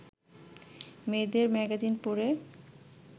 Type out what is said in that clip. মেয়েদের ম্যাগাজিন পড়ে